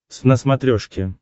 твз на смотрешке